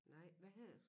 Nej hvad hedder